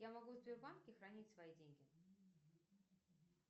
я могу в сбербанке хранить свои деньги